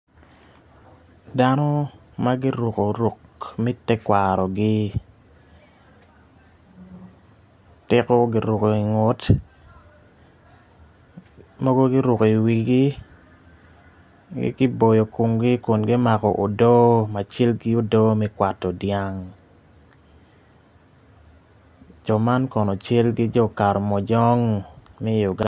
Dano ma guruko ruk me tekwarogi tiko giruko ingut mogo iwigi giboyo komgi Kun gimako odo ma cal ki odo me kwato dyang Jo man kono cal ki Jo karamojomg me Uganda.